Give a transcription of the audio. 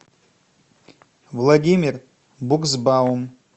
владимир буксбаум